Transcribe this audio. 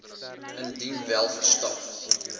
indien wel verskaf